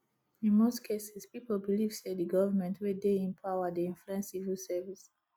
in most cases pipo believe sey di government wey dey in power dey influence civil service